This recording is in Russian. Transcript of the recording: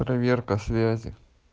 проверка связи